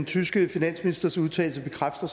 tyske finansministers udtalelse bekræfter